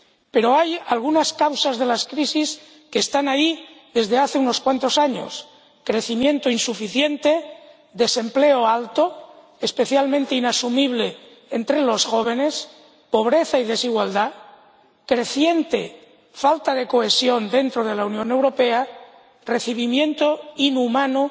Pero hay algunas causas de las crisis que están ahí desde hace unos cuantos años crecimiento insuficiente, desempleo alto —especialmente inasumible entre los jóvenes—, pobreza y desigualdad, creciente falta de cohesión dentro de la Unión, recibimiento inhumano